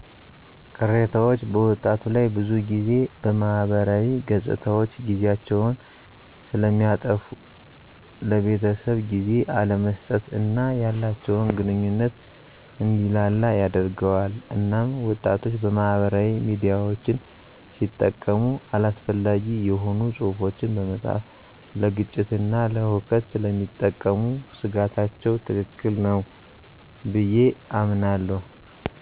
ቅሬታዎች በወጣቱ ላይ ብዙ ጊዜ በማህበራዊ ገፅታዎች ጊዜያቸዉን ስለሚያጠፉ ለቤተሰብ ጊዜ አለመስጠት እና ያላቸዉን ግንኙነት እንዲላላ ያደርገዋል እናም ወጣቶች ማህበራዊ ሚድያዎችን ሲጠቀሙ አላስፈላጊ የሆኑ ፅሑፎችን በመፃፍ ለግጭትና ለሁከት ስለሚጠቀሙ ስጋታቸዉ ትክክል ነዉ ብየ አምናለሁ